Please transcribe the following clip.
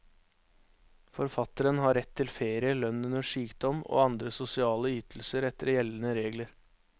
Forfatteren har rett til ferie, lønn under sykdom og andre sosiale ytelser etter gjeldende regler.